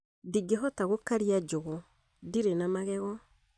Ndingehota gũkaria njugu, ndirĩ na magego